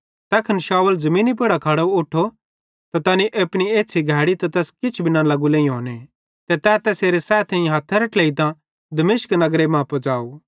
तैखन शाऊल ज़मीनी पुड़ां खड़े उठो त तैनी अपनी एछ़्छ़ी घैड़ी त तैस किछ भी न लगू लेइहोने ते तै तैसेरे सैथेइं हथेरां ट्लेइतां दमिश्क नगरे मां पुज़ाव